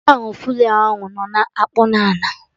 Gọwn flay ahụ nọ na-akpụ n'ala